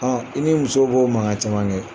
i ni muso b'o mankan caman kɛ.